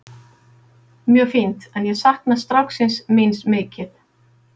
Mjög fínt en ég sakna stráksins míns mikið.